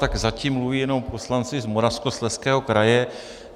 Tak zatím mluví jenom poslanci z Moravskoslezského kraje.